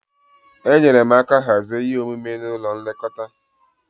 Enyere m aka hazie ihe omume n'ụlọ nlekọta.